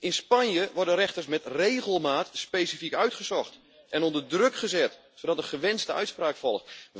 In Spanje worden rechters met regelmaat specifiek uitgezocht en onder druk gezet zodat de gewenste uitspraak volgt.